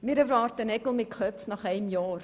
Wir erwarten Nägel mit Köpfen nach einem Jahr.